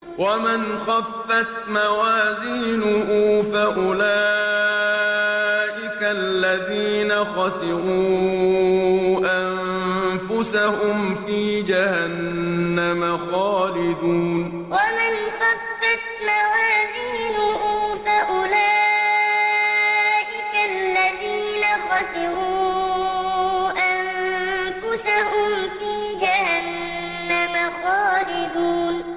وَمَنْ خَفَّتْ مَوَازِينُهُ فَأُولَٰئِكَ الَّذِينَ خَسِرُوا أَنفُسَهُمْ فِي جَهَنَّمَ خَالِدُونَ وَمَنْ خَفَّتْ مَوَازِينُهُ فَأُولَٰئِكَ الَّذِينَ خَسِرُوا أَنفُسَهُمْ فِي جَهَنَّمَ خَالِدُونَ